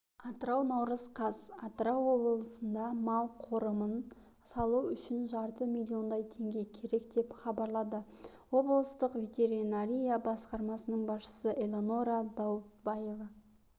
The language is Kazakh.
атырау наурыз қаз атырау облысында мал қорымын салу үшін жарты миллиондай теңге керек деп хабарлады облыстық ветеринария басқармасының басшысы элеонора даутбаева